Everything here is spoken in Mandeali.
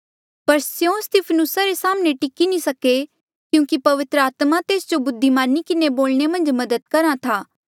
पर स्यों स्तिफनुसा रे साम्हणें टिकी नी सके क्यूंकि पवित्र आत्मा तेस जो बुद्धिमानी किन्हें बोलणे मन्झ मदद करहा था